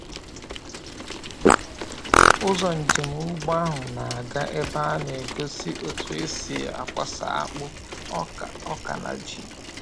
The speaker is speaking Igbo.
Ụzọ njem ugbo ahụ na-aga ebe a na-egosi otú e si akwasa akpụ, ọka, ọka, na ji.